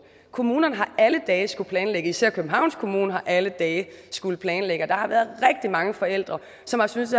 kommunerne har alle dage skullet planlægge især københavns kommune har alle dage skullet planlægge og der har været rigtig mange forældre som har syntes